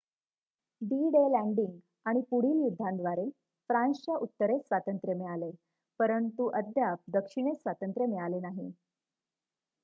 D-Day landing आणि पुढील युद्धांद्वारे फ्रान्सच्या उत्तरेस स्वांतत्र्य मिळाले परंतु अद्याप दक्षिणेस स्वातंत्र्य मिळाले नाही